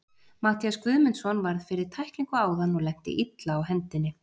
Matthías Guðmundsson varð fyrir tæklingu áðan og lenti illa á hendinni.